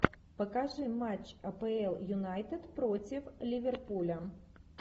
покажи матч апл юнайтед против ливерпуля